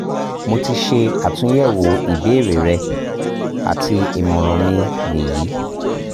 mo ti ṣe atunyẹwo ibeere rẹ ati imọran mi ni yi